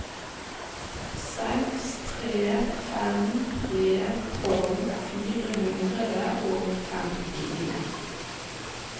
seks tre fem tre tolv fire hundre og femtien